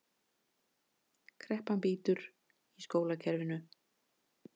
Kreppan bítur í skólakerfinu